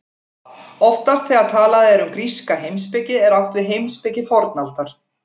Oftast þegar talað er um gríska heimspeki er átt við heimspeki fornaldar.